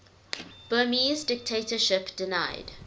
burmese dictatorship denied